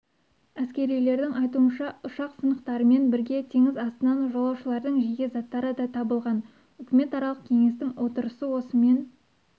әскерилердің айтуынша ұшақ сынықтарымен бірге теңіз астынан жолаушылардың жеке заттары да табылған үкіметаралық кеңестің отырысы осымен